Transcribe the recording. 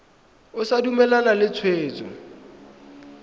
o sa dumalane le tshwetso